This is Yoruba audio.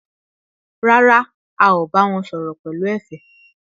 Rárá, a ò bá wọn sọ̀rọ̀ pẹ̀lú ẹ̀fẹ̀